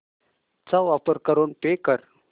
चा वापर करून पे कर